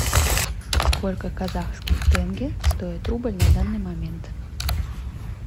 сколько казахских тенге стоит рубль на данный момент